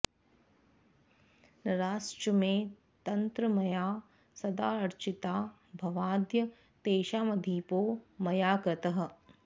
नराश्च मे तत्र मया सदाऽर्चिता भवाद्य तेषामधिपो मया कृतः